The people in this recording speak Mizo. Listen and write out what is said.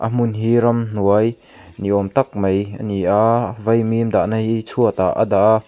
hmun hi ramhnuai ni awm tak mai ani a vaimim dah na hi chhuat ah a dah a.